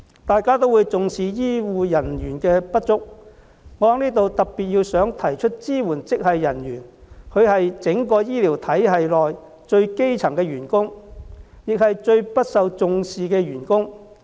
大家也重視醫護人手不足，我在此想特別指出，支援職系人員是整個醫療系統內最基層的員工，亦是最不受重視的員工。